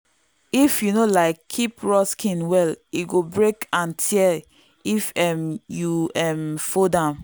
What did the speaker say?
if you no um keep raw skin well e go break and tear if um you um fold am.